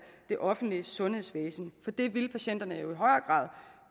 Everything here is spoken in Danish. det offentlige sundhedsvæsen for det ville patienterne jo i højere grad